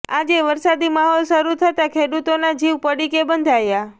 આજે વરસાદી માહોલ શરૂ થતા ખેડુતોના જીવ પડીકે બંધાયા